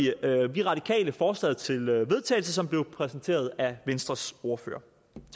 vi radikale forslaget til vedtagelse som blev præsenteret af venstres ordfører